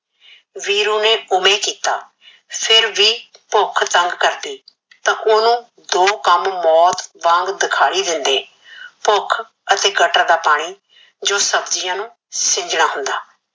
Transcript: ਵੀਰੂ ਨੇ ਓਵੇ ਕੀਤਾ ਫਿਰ ਵੀ ਭੁਖ ਤੰਗ ਕਰਦੀ ਤਾ ਓਹਨੁ ਦੋ ਕਮ ਮੋਤ ਵਾਂਗ ਦਿਖਿਈ ਦਿੰਦੇ ਭੁਖ ਅਤੇ ਗਟਰ ਦਾ ਪਾਣੀ ਜੋ ਸਬਜੀਆ ਨੂ ਸਿੰਜਣਾ ਹੁੰਦਾ